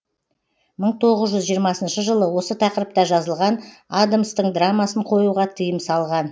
мың тоғыз жүз жиырмасыншы жылы осы тақырыпта жазылған адамстың драмасын қоюға тыйым салған